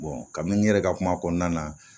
kami n yɛrɛ ka kuma kɔnɔna na